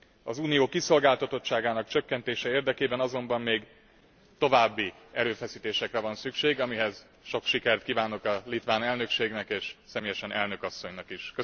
Az Unió kiszolgáltatottságának csökkentése érdekében azonban még további erőfeszítésekre van szükség, amihez sok sikert kívánok a litván elnökségnek és személyesen elnök asszonynak is.